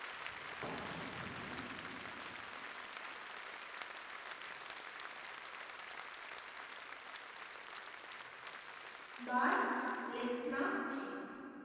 பாய் Lekhna G